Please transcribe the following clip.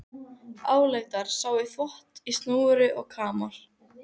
Álengdar sá í þvott á snúru og kamar.